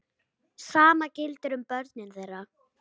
Sama gildir um börnin þeirra.